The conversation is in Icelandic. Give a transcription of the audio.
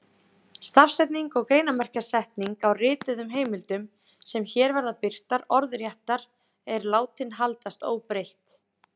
Stafsetning og greinarmerkjasetning á rituðum heimildum, sem hér verða birtar orðréttar, er látin haldast óbreytt.